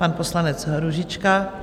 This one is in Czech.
Pan poslanec Růžička.